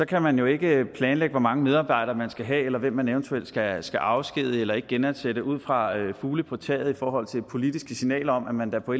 kan man jo ikke planlægge hvor mange medarbejdere man skal have eller hvem man eventuelt skal skal afskedige eller ikke genansætte ud fra fugle på taget i forhold til politiske signaler om at man da på